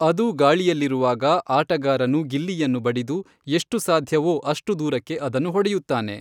ಅದು ಗಾಳಿಯಲ್ಲಿರುವಾಗ, ಆಟಗಾರನು ಗಿಲ್ಲಿಯನ್ನು ಬಡಿದು, ಎಷ್ಟು ಸಾಧ್ಯವೋ ಅಷ್ಟು ದೂರಕ್ಕೆ ಅದನ್ನು ಹೊಡೆಯುತ್ತಾನೆ.